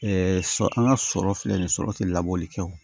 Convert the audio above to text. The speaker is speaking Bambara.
sɔ an ka sɔrɔ filɛ nin ye sɔrɔ ti labɔli kɛ o